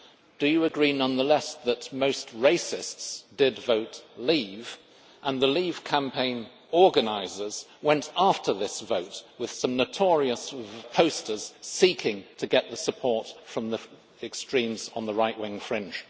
Do you agree, nonetheless, that most racists did vote leave and the leave campaign organisers went after that vote with some notorious posters seeking to get support from the extremes on the right wing fringe?